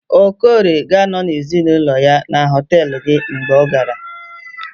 okorie ga-anọ na ezinụlọ ya na họtelu gị mgbe ọ gara